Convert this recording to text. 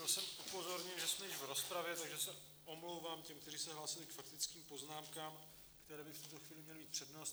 Byl jsem upozorněn, že jsme již v rozpravě, takže se omlouvám těm, kteří se hlásili k faktickým poznámkám, které by v tuto chvíli měly mít přednost.